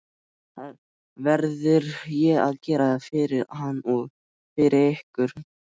Það verði ég að gera fyrir hann og fyrir ykkur!